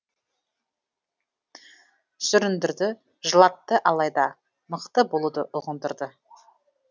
сүріндірді жылатты алайда мықты болуды ұғындырды